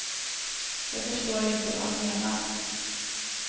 Jag förstår inte vad han menar.